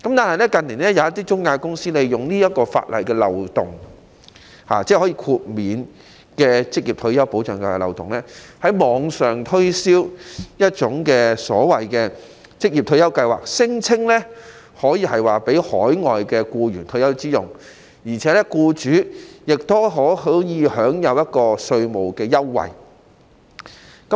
可是，有些中介公司近年利用可獲豁免的法律漏洞，在網上推銷所謂的"職業退休計劃"，聲稱可以讓海外僱員作退休之用，而僱主亦可以享有稅務優惠。